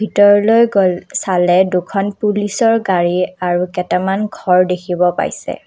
ভিতৰলৈ গ'ল চলে দুখন পুলিচ ৰ গাড়ী আৰু কেটামান ঘৰ দেখিব পাইছে।